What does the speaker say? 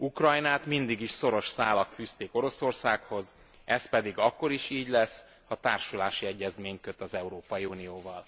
Ukrajnát mindig is szoros szálak fűzték Oroszországhoz, ez pedig akkor is így lesz, ha társulási egyezményt köt az Európai Unióval.